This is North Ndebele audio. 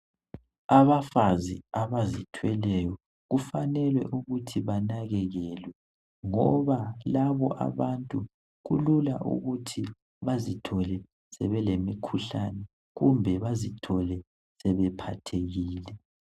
Abafazi abazithweleyo kufanele ukuthi banakekelwe ngoba labo abantu kulula ukuthi bazithole sebelemikhuhlane kumbe bazithole sebephathekile.